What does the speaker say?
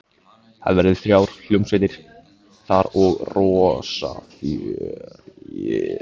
Það verða þrjár hljómsveitir þar og rosa fjör.